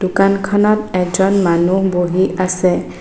দোকানখনত এজন মানুহ বহি আছে।